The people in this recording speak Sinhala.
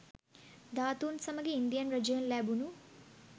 ධාතුන් සමඟ ඉන්දියන් රජයෙන් ලැබුණූ